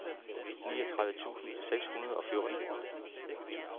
niogtredive tusind seks hundrede og fjorten